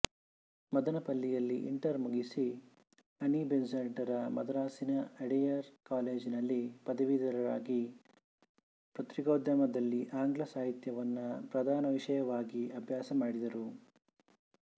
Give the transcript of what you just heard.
ಮದನಪಲ್ಲಿಯಲ್ಲಿ inter ಮುಗಿಸಿ ಆನಿಬೆಸೆಂಟರ ಮದರಾಸಿನ ಅಡೆಯಾರ್ ಕಾಲೇಜಿನಲ್ಲಿ ಪಧವೀಧರರಾಗಿ ಪತ್ರಿಕೋದ್ಯಮದಲ್ಲಿ ಆಂಗ್ಲ ಸಾಹಿತ್ಯವನ್ನು ಪ್ರಧಾನವಿಷಯವಾಗಿ ಅಭ್ಯಾಸ ಮಾಡಿದರು